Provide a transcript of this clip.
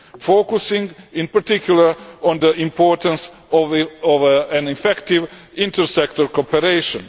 focusing in particular on the importance of an effective intersectoral cooperation.